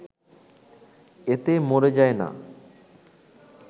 এতে মরে যায় না